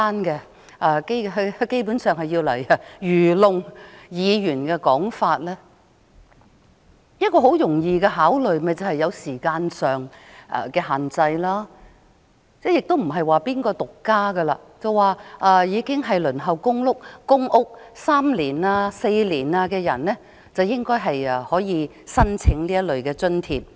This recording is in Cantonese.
基本上，這是愚弄議員的說法，其實政府只需稍作考慮，便會知道可以設定時限，而且只有那些已輪候公屋3年或4年的人才可以申請這類津貼。